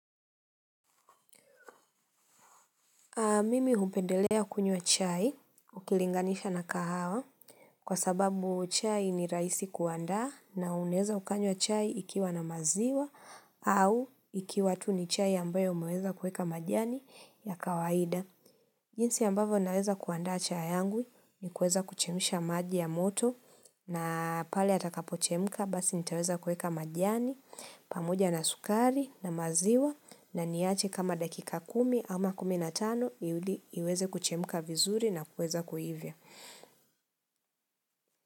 Mimi hupendelea kunywa chai ukilinganisha na kahawa kwa sababu chai ni rahisi kuandaa na unaweza ukanywa chai ikiwa na maziwa au ikiwa tu ni chai ambayo umeweza kuweka majani ya kawaida. Jinsi ambavyo naweza kuandaa chai yangu ni kuweza kuchemsha maji ya moto na pale atakapo chemka basi nitaweza kueka majani, pamoja na sukari na maziwa na niyache kama dakika kumi ama kumi na tano ili iweze kuchemka vizuri na kueza kuivya.